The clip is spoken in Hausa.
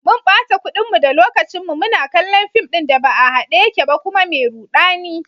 Mun bata kudinmu da lokacinmu muna kallon fim ɗin da ba a hade yake ba kuma mai rudani.